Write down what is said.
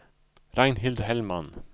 Ragnhild Hellman